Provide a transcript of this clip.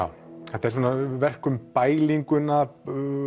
þetta er svona verk um